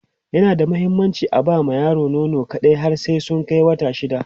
yana da muhimmanci aba ma yara nono kaɗai har sai sun Kai wata shida